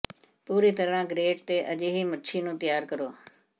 ਪੂਰੀ ਤਰ੍ਹਾਂ ਗਰੇਟ ਤੇ ਅਜਿਹੀ ਮੱਛੀ ਨੂੰ ਤਿਆਰ ਕਰੋ